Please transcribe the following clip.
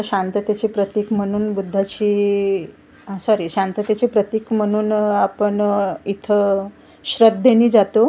शांततेची प्रतिक म्हणून बुद्धाची इइ सॉरी शांततेचे प्रतिक म्हणून आपण अ इथं श्रद्धेने जातो.